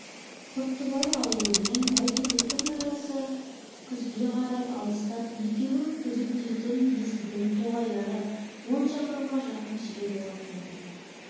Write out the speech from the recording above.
құттыбай ауылы мен байтөбеттің арасы күзге қарай алыстап екеуі күзектейтін есілдің тоғайлары он шақырымға жақын жер болатын еді